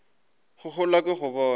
go gola ke go bona